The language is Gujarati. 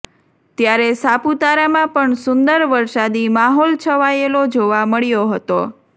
ત્યારે સાપુતારામાં પણ સુંદર વરસાદી માહોલ છવાયેલો જોવા મળ્યો હતો